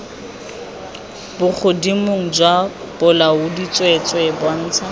bogodimong jwa bolaodi tsweetswee bontsha